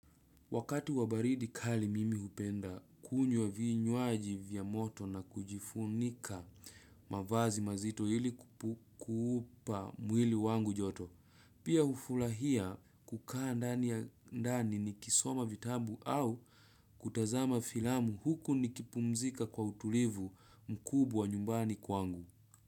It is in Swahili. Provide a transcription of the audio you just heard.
Wakati wa baridi kali mimi hupenda kunywa vinywaji vya moto na kujifunika mavazi mazito ili kuupa mwili wangu joto. Pia ufulahia kukaa ndani ya ndani nikisoma vitabu au kutazama filamu huku nikipumzika kwa utulivu mkubwa nyumbani kwangu.